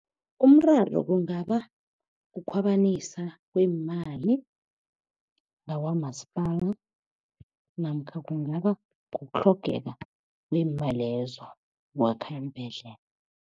Umraro kungaba kukhwabanisa kweemali ngakwamasipala namkha kungaba kutlhogeka kweemali lezo ukwakha iimbhedlela.